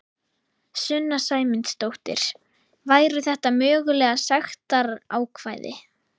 Sunna Sæmundsdóttir: Væru þetta mögulega sektarákvæði?